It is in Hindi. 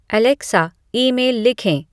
एलेक्सा ईमेल लिखें